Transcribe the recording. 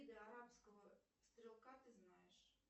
виды арабского стрелка ты знаешь